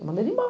Eu mandei ele